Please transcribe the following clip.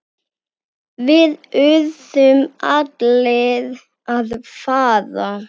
Við urðum allir að fara.